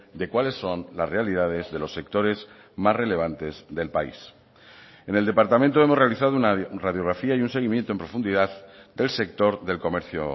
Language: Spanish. de cuáles son las realidades de los sectores más relevantes del país en el departamento hemos realizado una radiografía y un seguimiento en profundidad del sector del comercio